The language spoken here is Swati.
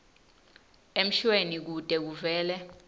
emshweni kute kuvele